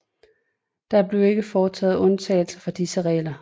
Der blev ikke foretaget undtagelser fra disse regler